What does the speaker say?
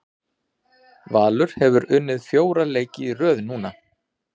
Valur hefur unnið fjóra leiki í röð núna.